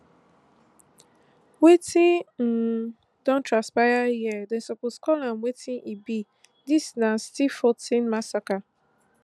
wetin um don transpire here dem suppose call am wetin e be dis na stilfontein massacre